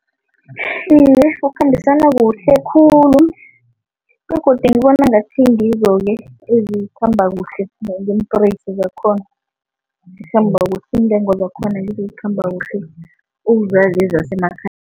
Iye, kukhambisana kuhle khulu begodu ngibona ngathi ngizo-ke ezikhamba kuhle ngeempreysi zakhona, iintengo zakhona ngizo ezikhamba kuhle ukudlula lezi zasemakhaya.